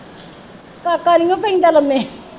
ਕਾਕਾ ਨੀਓ ਪੈਂਦਾ ਲੰਮੇ